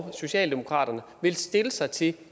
og socialdemokratiet vil stille sig til